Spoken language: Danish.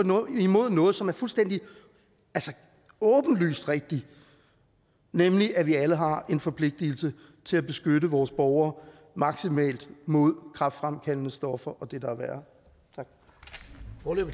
imod noget som er fuldstændig åbenlyst rigtigt nemlig at vi alle har en forpligtelse til at beskytte vores borgere maksimalt mod kræftfremkaldende stoffer og det der er værre